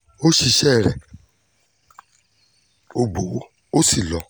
ó ṣiṣẹ́ rẹ̀ ó gbowó ó sì lọ